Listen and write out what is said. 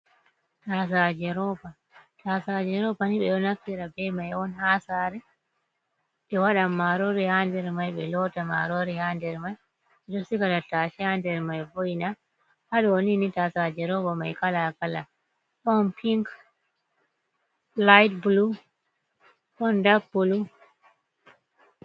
Tasaje roba. Tasajerobani ɓe ɗo naffira be may on hasare. Ɓe waɗan marori ha nder may, ɓe lota marori ha nder may. Ɓeɗo siga tatashe ha nder may vo, ina. Haɗonini tasaje robamai kalakala ɗon ping, liyt bulu, honda bulu.